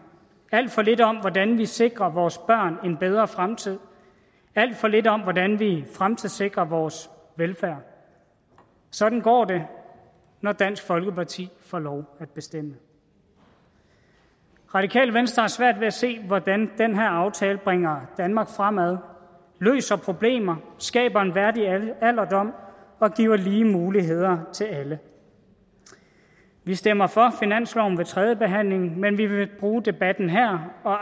alt for lidt om hvordan vi sikrer vores børn en bedre fremtid alt for lidt om hvordan vi fremtidssikrer vores velfærd sådan går det når dansk folkeparti får lov at bestemme radikale venstre har svært ved at se hvordan den her aftale bringer danmark fremad løser problemer skaber en værdig alderdom og giver lige muligheder til alle vi stemmer for finansloven ved tredjebehandlingen men vi vil bruge debatten her og